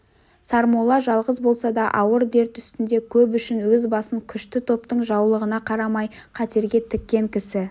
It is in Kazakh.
сармолла жалғыз болса да ауыр дерт үстінде көп үшін өз басын күшті топтың жаулығына қарамай қатерге тіккен кісі